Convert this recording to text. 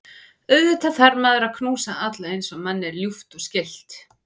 Auðvitað þarf maður að knúsa alla eins og manni er ljúft og skylt.